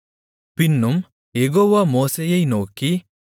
பின்னும் யெகோவா மோசேயை நோக்கி